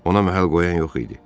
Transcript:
Ona məhəl qoyan yox idi.